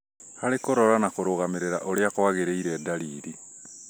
harĩ kũrora na kũrũgamĩrĩra ũrĩa kwagĩrĩire ndariri